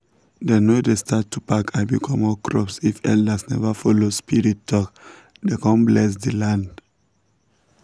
dem no dey start to pack abi comot crops if elders never follow spirits talk then con bless the land.